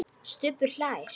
Stubbur hlær.